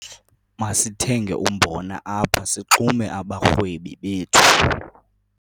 Masithenge umbona apha sixume abarhwebi bethu.